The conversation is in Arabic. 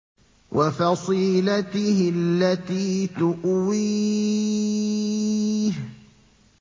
وَفَصِيلَتِهِ الَّتِي تُؤْوِيهِ